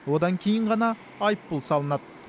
одан кейін ғана айыппұл салынады